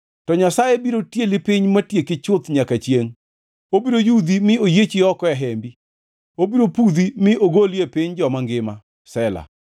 To Nyasaye biro tieli piny matieki chuth nyaka chiengʼ; obiro yudhi mi oyiechi oko e hembi; obiro pudhi mi ogoli e piny joma ngima. Sela